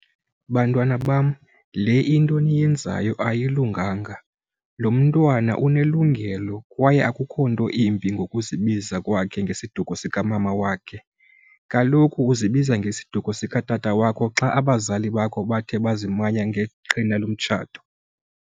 Bantwana bam le into eniyenzayo ayilunganga. Lo mntwana unelungelo kwaye akukho nto imbi ngokuzibiza kwakhe ngesiduko sikamama wakhe, kaloku ukuzibiza ngesiduko sikatata wakho xa abazali bakho bathe bazimanye ngeqhina lomtshato.